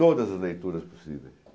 Todas as leituras possíveis.